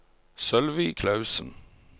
Sølvi Clausen